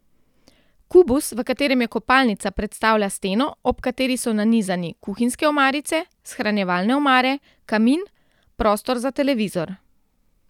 Kubus, v katerem je kopalnica, predstavlja steno, ob kateri so nanizani kuhinjske omarice, shranjevalne omare, kamin, prostor za televizor.